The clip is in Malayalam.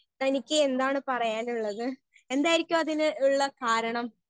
സ്പീക്കർ 1 തനിക്കെന്താണ് പറയാനുള്ളത് എന്തായിരിക്കും അതിന് ഇള്ള കാരണം.